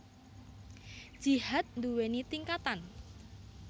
Jihad nduwèni tingkatan